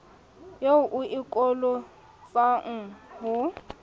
eo o e kolotwang ho